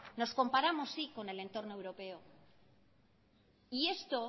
nos comparamos sí con el entorno europeo y esto